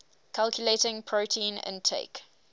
calculating protein intake